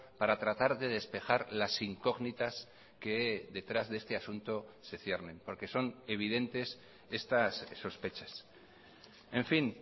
para tratar de despejar las incógnitas que detrás de este asunto se ciernen por que son evidentes estas sospechas en fin